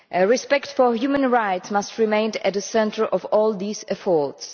Respect for human rights must remain at the centre of all these efforts.